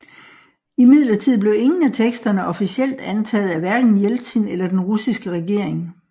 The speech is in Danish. Imidlertid blev ingen af teksterne officielt antaget af hverken Jeltsin eller den russiske regering